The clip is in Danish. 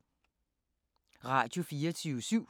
Radio24syv